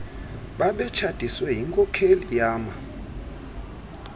babetshatiswe yinkokheli yama